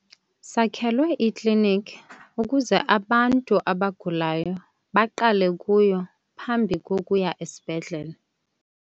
Sakhelwe iklinikhi ukuze abantu abagulayo baqale kuyo phambi kokuya esibhedlele.